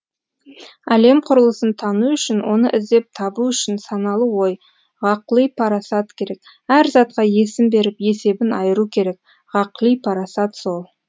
әлем құрылысын тану үшін оны іздеп табу үшін саналы ой ғақли парасат керек әр затқа есім беріп есебін айыру керек ғақли парасат сол